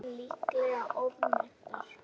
Eignir líklega ofmetnar